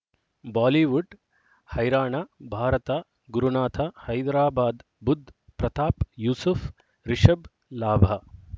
Bollywood ಹೈರಾಣ ಭಾರತ ಗುರುನಾಥ ಹೈದರಾಬಾದ್ ಬುಧ್ ಪ್ರತಾಪ್ ಯೂಸುಫ್ ರಿಷಬ್ ಲಾಭ